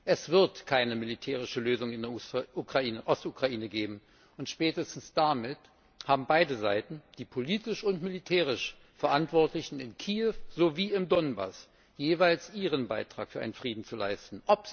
Es wird keine militärische Lösung in der Ostukraine geben, und spätestens damit haben beide Seiten, die politisch und militärisch Verantwortlichen in Kiew sowie im Donbass, jeweils ihren Beitrag für einen Frieden zu leisten.